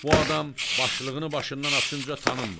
Bu adam başlığını başından açınca tanınmır.